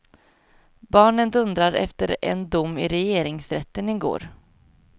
Barnen dundrar efter en dom i regeringsrätten i går.